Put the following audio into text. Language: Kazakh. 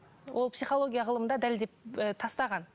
ол психология ғылымында дәлелдеп ы тастаған